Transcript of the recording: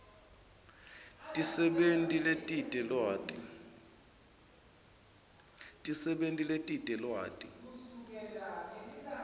tisebenti letite lwati